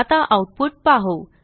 आता आऊटपुट पाहू